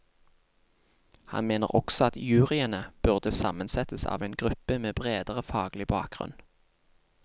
Han mener også at juryene burde sammensettes av en gruppe med bredere faglig bakgrunn.